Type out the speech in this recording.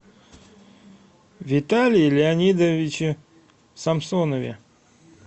виталии леонидовиче самсонове